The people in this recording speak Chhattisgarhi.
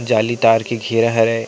जाली तार के घेरा हरय।